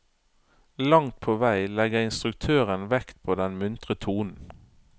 Langt på vei legger instruktøren vekt på den muntre tonen.